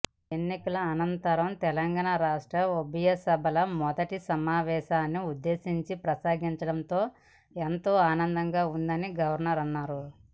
ఎన్నికల అనంతరం తెలంగాణ రాష్ట్ర ఉభయసభల మొదటి సమావేశాన్ని ఉద్దేశించి ప్రసంగించడం ఎంతో ఆనందంగా ఉందని గవర్నర్ అన్నారు